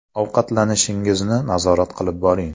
Ovqatlanishingizni nazorat qilib boring.